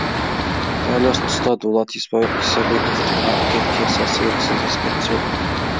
дәл осы тұста дулат исабековтың әпке пьесасы еріксіз еске түседі